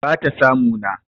bata samu na